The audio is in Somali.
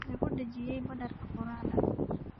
Lagu dhejiyay badarka quraacda.